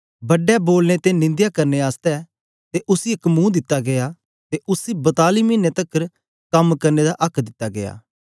बड्डे बोलने ते निंदया करने आस्ते ते उसी एक मुंह दिता गीया ते उसी बताली मिने तकर कम करने दा आक्क दिता गीया